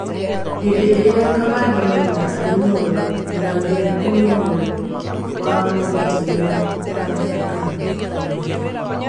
hĩndĩ ĩria kamande maina arĩ muoyo mũrangĩri ũmwe niwe wamagĩtagĩra maabĩthaa erĩ anene